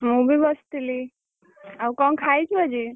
ମୁଁ ବି ବସିଥିଲି ଆଉ କଣ ଖାଇଛୁ ଆଜି?